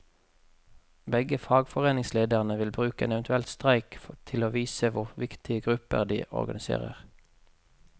Begge fagforeningslederne vil bruke en eventuell streik til å vise hvor viktige grupper de organiserer.